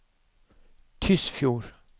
Tysfjord